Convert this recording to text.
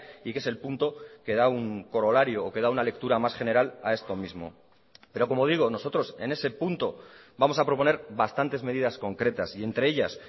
y que es el punto que da un corolario o que da una lectura más general a esto mismo pero como digo nosotros en ese punto vamos a proponer bastantes medidas concretas y entre ellas